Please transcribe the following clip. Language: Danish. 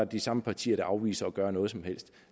de samme partier der afviser at gøre noget som helst